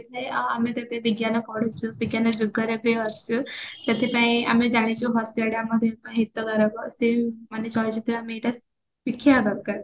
ଆଉ ଆମେ ତ ଏବେ ବିଜ୍ଞାନ ପଢିଚୁ ବିଜ୍ଞାନ ଯୁଗରେ ବି ଅଛୁ ସେଥିପାଇଁ ଆମେ ଜାଣିଚୁ ହସିବା ଆମ ଦେହ ପାଇଁ ହିତ କାରକ ସିଏ ବି ଚଳଚିତ୍ର ଆମେ ଏଇଟା ଶିଖିବା ଦରକାର